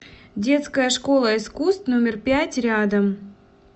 детская школа искусств номер пять рядом